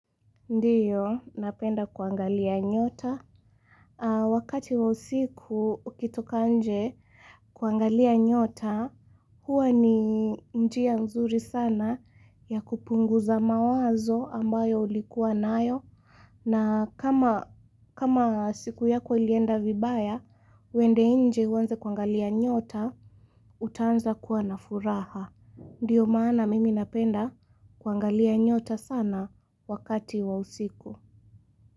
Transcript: Ndiyo, napenda kuangalia nyota. Wakati wa usiku, ukitoka nje kuangalia nyota, huwa ni njia nzuri sana ya kupunguza mawazo ambayo ulikuwa nayo. Na kama siku yako ilienda vibaya, wende inje uwanze kuangalia nyota, utanza kuana furaha. Ndiyo maana mimi napenda kuangalia nyota sana wakati wa usiku.